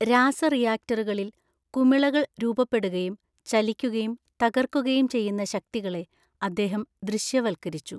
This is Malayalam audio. രാസ റിയാക്ടറുകളിൽ കുമിളകൾ രൂപപ്പെടുകയും ചലിക്കുകയും തകർക്കുകയും ചെയ്യുന്ന ശക്തികളെ അദ്ദേഹം ദൃശ്യവൽക്കരിച്ചു.